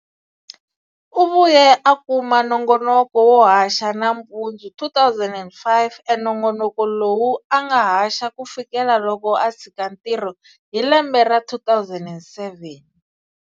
U vuye a kuma nongonoko wo haxa nampundzu 2005, enongonoko lowu anga haxa kufikela loko a tshika ntirho hi lembe ra 2007.